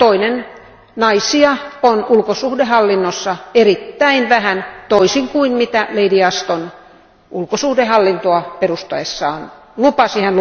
Lisäksi naisia on ulkosuhdehallinnossa erittäin vähän, toisin kuin mitä Lady Ashton ulkosuhdehallintoa perustaessaan lupasi.